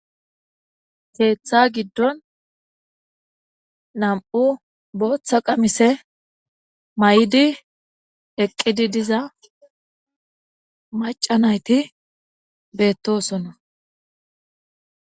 Keetha gidon nam'u bootha qamise mayidi eqidi diza maca nayti beetosona.